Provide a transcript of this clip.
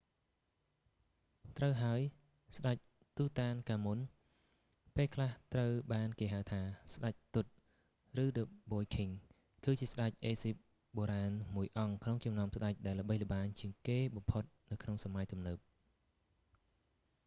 ត្រូវហើយ! ស្តេច tutankhamun​ទូតាន​កាមុន ពេល​ខ្លះ​ត្រូវ​បាន​គេ​ហៅថា ស្តេច tut” ឬ the boy king គឺ​ជា​ស្តេច អេហ្ស៊ីប​បុរាណ​មួយ​អង្គ​ក្នុង​ចំណោម​ស្តេច​ដែល​ល្បីល្បាញ​ជាង​គេ​បំផុត​នៅ​ក្នុង​សម័យ​ទំនើប។